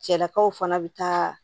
Cɛlakaw fana bɛ taa